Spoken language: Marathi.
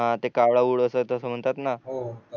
हो